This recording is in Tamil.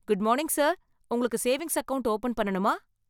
Good morning sir! உங்களுக்கு சேவிங்ஸ் அக்கவுண்ட் ஓபன் பண்ணணுமா?